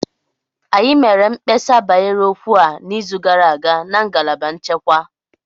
Anyị mere mkpesa banyere okwu a n'izu gara aga na ngalaba nchekwa